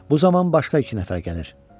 Bu zaman başqa iki nəfər gəlir.